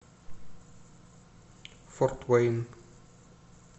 форт уэйн